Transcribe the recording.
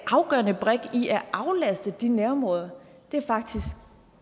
afgørende brik i at aflaste de nærområder er faktisk